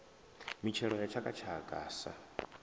mitshelo ya tshaka tshaka sa